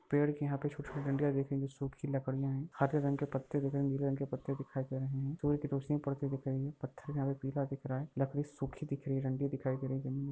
पेड़ के यहाँ पे छोटी-छोटी डंडिया दिख रही है जो सुखी लकड़िया है हरे रंग के पत्ते दिख रहे है नीले रंग के पत्ते दिखाई दे रहे है सूर्य की रोशनी पड़ती दिखाई रही है पत्थर यहाँ पे पीला दिख रहा है लकड़ी सुखी दिख रही है रंगीन दिखाई दे रही है जमीन में --